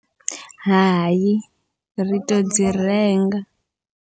Hai ri to dzi renga.